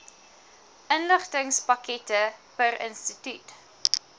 inligtingspakkette per instituut